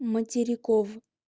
материков